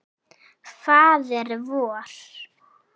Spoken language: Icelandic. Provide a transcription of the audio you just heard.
Faðir vor